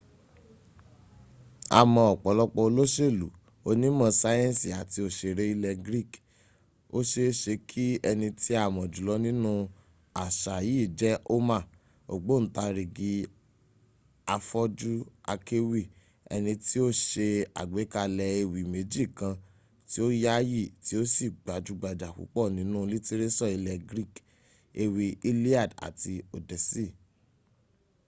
a mọ ọ̀pọ̀lọpọ̀ olóṣèlú onímọ̀ sayẹnsì àti òṣèré ilẹ̀ greek. ó ṣe é ṣe kí ẹni tí a mọ̀ jùlọ nínú àṣà yìí jẹ́ homer ògbọǹtarìgì afọ́jú akéwì ẹni tí ó ṣe àgbékalẹ̀ ewì méjì kan tí o yááyì tí ó sì gbajúgbajà púpọ̀ nínú lítíréṣọ̀ ilẹ̀ greek: ewì iliad àti odyssey